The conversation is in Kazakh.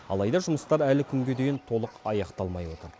алайда жұмыстар әлі күнге дейін толық аяқталмай отыр